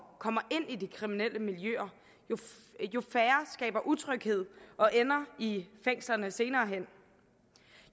kommer ind i de kriminelle miljøer jo færre skaber utryghed og ender i fængslerne senere hen